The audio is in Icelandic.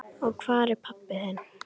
Og hvar er pabbi þinn?